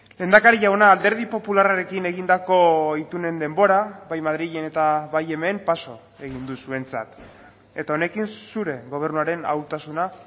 lehendakari jauna alderdi popularrarekin egindako itunen denbora bai madrilen eta bai hemen paso egin du zuentzat eta honekin zure gobernuaren ahultasuna